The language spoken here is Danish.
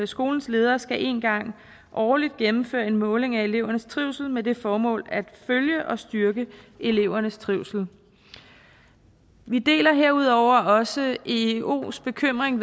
skolens leder skal én gang årligt gennemføre en måling af elevernes trivsel med det formål at følge og styrke elevernes trivsel vi deler herudover også eeos bekymring